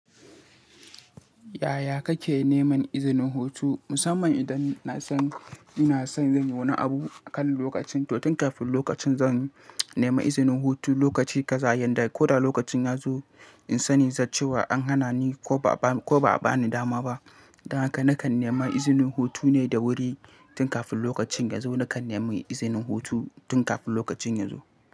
Yaya kake neman izinin hutu? Musamman idan na san, ina san zan yi wani abu akan lokacin, to tun kafin lokacin zan nema izinin hutu lokaci kaza yanda ko da lokacin ya zo in sani cewa an hana ni ko ba, ko ba a bani dama ba. Don haka nakan nema izinin hutu ne da wuri tun kafin lokacin ya zo, nakan nema izinin hutu tun kafin lokacin ya zo.